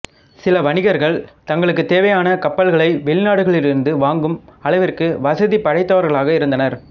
சில வணிகர்கள் தங்களுக்குத் தேவையான கப்பல்களை வெளிநாடுகளிலிருந்து வாங்கும் அளவிற்கு வசதி படைத்தவர்களாக இருந்தனர்